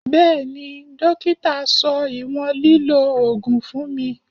Bẹẹni, dókítà sọ ìwọ̀n lílọ ogun fún mi.